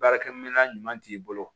Baarakɛminɛn ɲuman t'i bolo